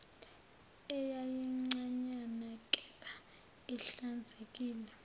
eyayincanyana kepha ihlanzekile